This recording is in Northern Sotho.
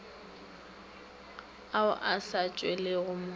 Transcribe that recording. ao a sa tšwelelego mo